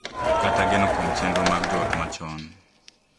Kata geno kuom chenro mag joot machon,